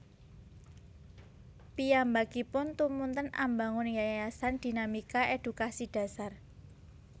Piyambakipun tumunten ambangun Yayasan Dinamika Edukasi Dasar